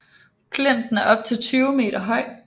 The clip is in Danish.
Klinten er op til 20 meter høj